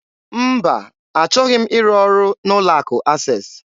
Mba, achọghị m ịrụ ọrụ n'ụlọ akụ Access.